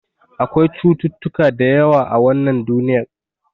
Akwai cututtuka da yawa a wannan duniyar.